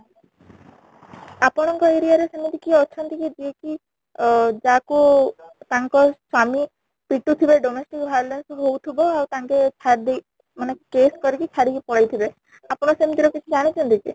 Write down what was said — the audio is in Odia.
ଆପଣ ଙ୍କ area ରେ ସେମିତି କେହି ଅଛନ୍ତି କି ଯିଏ କି ଅ ଯାହା କୁ ତାଙ୍କ ସ୍ୱାମୀ ପିଟୁ ଥିବେ domestic violence ହଉଥିବ ଆଉ ତାଙ୍କେ ଛାଡି ଦେଇ ମାନେ case କରିକି ଛାଡିକି ପଳେଇ ଥିବେ ଆପଣ ସେମିତି ର କିଛି ଜାଣିଛନ୍ତି କି ?